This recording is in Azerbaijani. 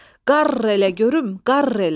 "Qarr elə görüm, qarr elə!"